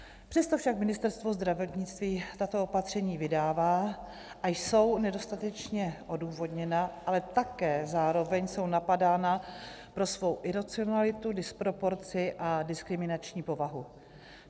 Přesto však Ministerstvo zdravotnictví tato opatření vydává a jsou nedostatečně odůvodněna, ale také zároveň jsou napadána pro svou iracionalitu, disproporci a diskriminační povahu.